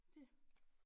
Det